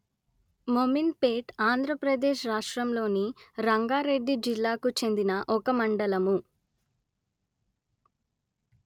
మోమిన్‌పేట్‌ ఆంధ్ర ప్రదేశ్ రాష్ట్రములోని రంగారెడ్డి జిల్లాకు చెందిన ఒక మండలము